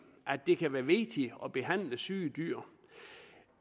at det kan være vigtigt at behandle syge dyr